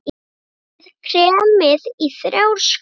Setjið kremið í þrjár skálar.